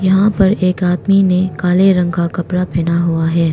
यहां पर एक आदमी ने काले रंग का कपड़ा पहना हुआ है।